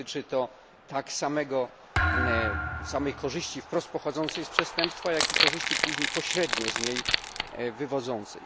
Dotyczy to tak samej korzyści wprost pochodzącej z przestępstwa, jak i korzyści później pośrednio z niej się wywodzącej.